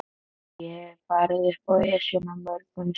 Ég hef farið upp Esjuna mörgum sinnum.